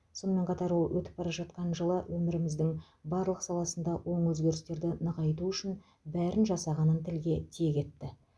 сонымен қатар ол өтіп бара жатқан жылы өміріміздің барлық саласында оң өзгерістерді нығайту үшін бәрін жасағанын тілге тиек етті